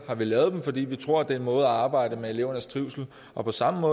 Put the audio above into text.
har vi lavet dem fordi vi tror på at det er en måde at arbejde med elevernes trivsel på på samme